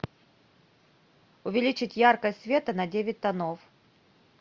увеличить яркость света на девять тонов